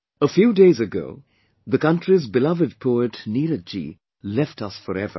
A few days ago, the country's beloved poet Neeraj Ji left us forever